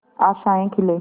आशाएं खिले